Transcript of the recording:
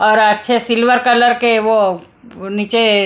और अच्छे silver colour के वो वो नीचे --